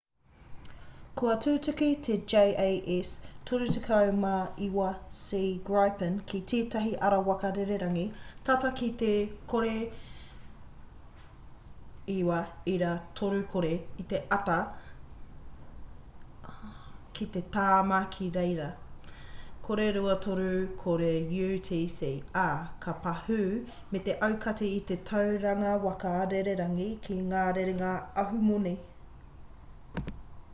kua tutuki te jas 39c gripen ki tētahi ara waka rererangi tata ki te 09.30 i te ata ki te tāma ki reira 0230 utc ā ka pahū me te aukati i te tauranga waka rererangi ki ngā rerenga ahumoni